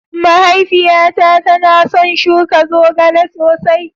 Mahaifiyata tana son shuka zogale sosai